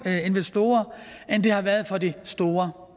investorer end det har været for de store